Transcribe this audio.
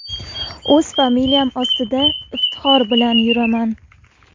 O‘z familiyam ostida iftixor bilan yuraman!!!